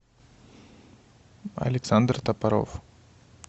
александр топоров